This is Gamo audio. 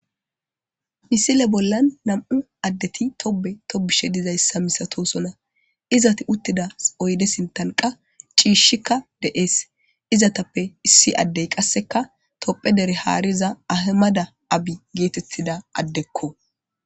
Misile bollan nam7u addeti tobbe tobbishe dizayssa milatoosona. Izati uttida oyde sinttan qa ciishikka de7ees. izatappe issi addey qasseka tophe dere haariza ahimada abi geetettida addekko.